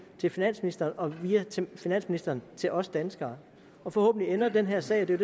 til finansministeren og via finansministeren til os danskere og forhåbentlig ender den her sag det er